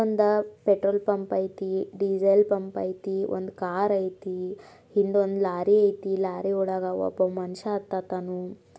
ಒಂದು petrol pump ಅಯ್ತಿ diesel pump ಅಯ್ತಿ ಒಂದು ಕಾರ್ ಅಯ್ತಿ ಹಿಂದ ಒಂದು ಲಾರಿ ಅಯ್ತಿ ಲಾರಿ ಒಳ್ಗ ಒಬ್ಬ ಮನಷ್ಯ ಹತತ್ತಾನು.